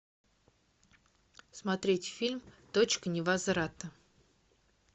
смотреть фильм точка невозврата